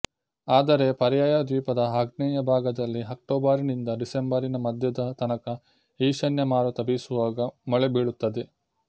ಆದರೆ ಪರ್ಯಾಯ ದ್ವೀಪದ ಆಗ್ನೇಯ ಭಾಗದಲ್ಲಿ ಅಕ್ಟೋಬರಿನಿಂದ ಡಿಸೆಂಬರಿನ ಮಧ್ಯದ ತನಕ ಈಶಾನ್ಯ ಮಾರುತ ಬೀಸುವಾಗ ಮಳೆ ಬೀಳುತ್ತದೆ